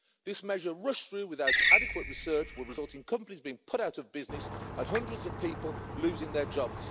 This measure, rushed through without adequate research, will result in companies being put out of business and hundreds of people losing their jobs.